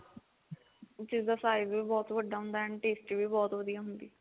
ਜਿਸ ਦਾ size ਵੀ ਬਹੁਤ ਵੱਡਾ ਹੁੰਦਾ and tasty ਵੀ ਬਹੁਤ ਵਧੀਆ ਹੁੰਦੀ ਆ